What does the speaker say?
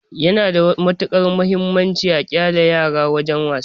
Yana da matuƙar mahimmanci a ƙyale yara suyi wasa.